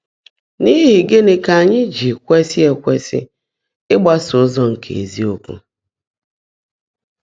N’íhí gị́ní kà ányị́ jị́ kwèsị́ kwèsị́ ị́gbásó ụ́zọ́ nkè ézíokwú?